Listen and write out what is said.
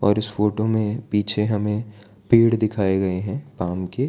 इस फोटो में पीछे हमें पेड़ दिखाएं गए हैं आम के --